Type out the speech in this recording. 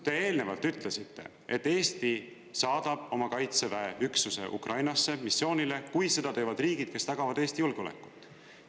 Te eelnevalt ütlesite, et Eesti saadab oma Kaitseväe üksuse Ukrainasse missioonile, kui seda teevad riigid, kes tagavad Eesti julgeolekut.